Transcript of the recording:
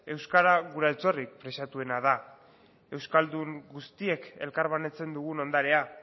euskara gure altxorrik preziatuena da euskaldun guztiek elkarbanatzen dugun ondarea